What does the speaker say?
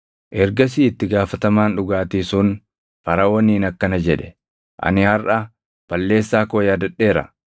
Ergasii itti gaafatamaan dhugaatii sun Faraʼooniin akkana jedhe; “Ani harʼa balleessaa koo yaadadheera.